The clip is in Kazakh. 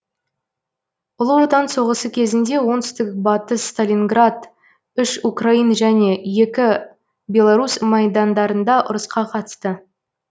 ұлы отан соғысы кезінде оңт батыс сталинград үш украин және екі белорус майдандарында ұрысқа қатысты